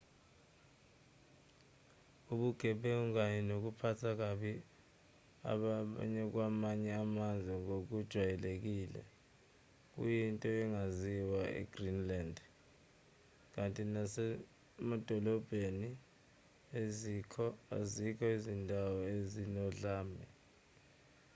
ubugebengu kanye nokuphatha kabi abakwamanye amazwe ngokujwayelekile kuyinto engaziwa e-greenland kanti nasemadolobheni azikho izindawo ezinodlame